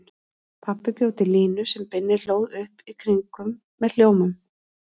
Pabbi bjó til línu sem Binni hlóð upp í kringum með hljómum.